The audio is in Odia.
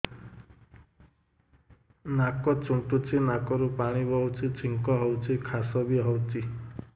ନାକ ଚୁଣ୍ଟୁଚି ନାକରୁ ପାଣି ବହୁଛି ଛିଙ୍କ ହଉଚି ଖାସ ବି ହଉଚି